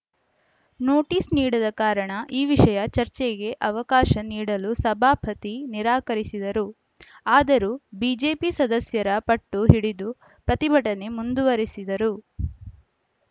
notice ನೀಡದ ಕಾರಣ ಈ ವಿಷಯ ಚರ್ಚೆಗೆ ಅವಕಾಶ ನೀಡಲು ಸಭಾಪತಿ ನಿರಾಕರಿಸಿದರು ಆದರೂ ಬಿಜೆಪಿ ಸದಸ್ಯರ ಪಟ್ಟು ಹಿಡಿದು ಪ್ರತಿಭಟನೆ ಮುಂದುವರೆಸಿದರು